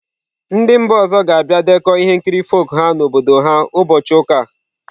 Ndị mba ọzọ ga-abịa dekọọ ihe nkiri folk ha n'obodo ha ụbọchị ụka a.